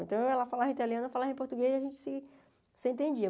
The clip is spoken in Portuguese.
Então, ela falava italiano, eu falava português, a gente se se entendia.